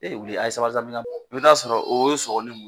Ee wuli a ye sabali sa mina i bi t'a sɔrɔ o y'o sɔgɔ ni muru ye